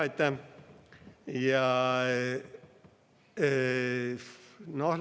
Aitäh!